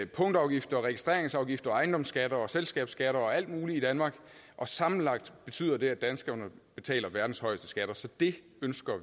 punktafgifter registreringsafgifter ejendomsskatter selskabsskatter og alt muligt i danmark og sammenlagt betyder det at danskerne betaler verdens højeste skatter så vi ønsker